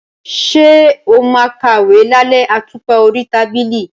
Ṣé o máa ń kàwé lálẹ́ àtùpà orí tábìlì?